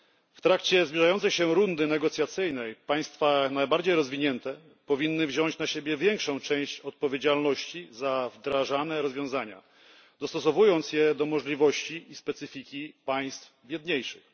W trakcie zbliżającej się rundy negocjacyjnej państwa najbardziej rozwinięte powinny wziąć na siebie większą część odpowiedzialności za wdrażane rozwiązania, dostosowując je do możliwości i specyfiki państw biedniejszych.